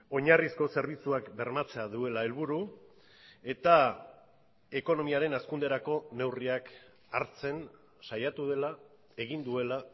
oinarrizko zerbitzuak bermatzea duela helburu eta ekonomiaren hazkunderako neurriak hartzen saiatu dela egin duela